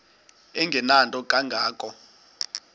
engenanto kanga ko